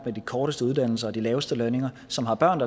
med de korteste uddannelser og de laveste lønninger som har børn